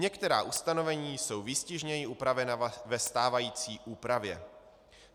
Některá ustanovení jsou výstižněji upravena ve stávající úpravě.